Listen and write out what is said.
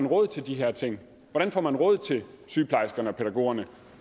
råd til de her ting hvordan får man råd til sygeplejerskerne pædagogerne